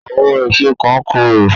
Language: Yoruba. Àwọn èso kan korò